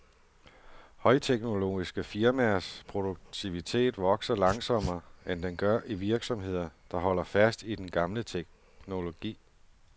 Højteknologiske firmaers produktivitet vokser langsommere, end den gør i virksomheder, der holder fast i den gamle teknologi.